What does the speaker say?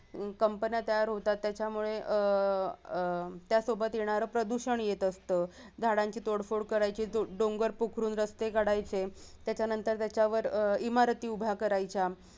Company तयार होतात त्याच्यामुळे अह अह त्यासोबत येणार प्रदूषण येत असत झाडांची तोडफोड करायची डोंगर पोखरून रस्ते काढायचे त्याच्यानंतर त्याच्यावर अह इमारती उभ्या करायच्या